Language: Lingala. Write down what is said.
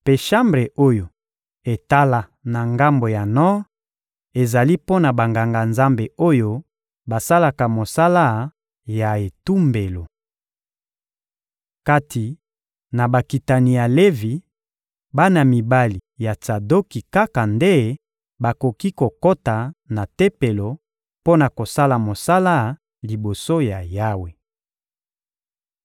mpe shambre oyo etala na ngambo ya nor ezali mpo na Banganga-Nzambe oyo basalaka mosala ya etumbelo. Kati na bakitani ya Levi, bana mibali ya Tsadoki kaka nde bakoki kokota na Tempelo mpo na kosala mosala liboso ya Yawe.»